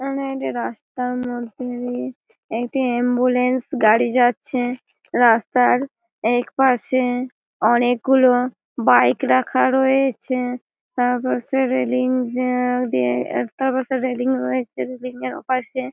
এখানে একটি রাস্তার মধ্যে দিয়ে একটি অ্যাম্বুলেন্স গাড়ি যাচ্ছে। রাস্তায় এক পাশে অনেক গুলো বাইক রাখা রয়ে-এছে। তার পাশের রেলিং এ দিয়ে তার পাশে রেলিং রয়েছে। রেলিং -এর ওপাশে--